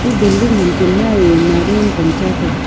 eto building ham chenma ee nariyan pan cha taiga.